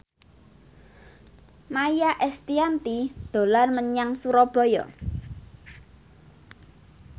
Maia Estianty dolan menyang Surabaya